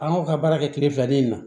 An y'o ka baara kɛ kile fila ni in na